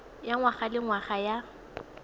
ya ngwaga le ngwaga ya